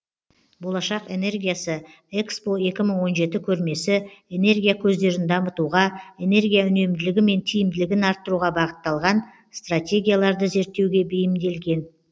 болашақ энергиясы экспо екі мың он жеті көрмесі энергия көздерін дамытуға энергия үнемділігі мен тиімділігін арттыруға бағытталған стратегияларды зерттеуге бейімделген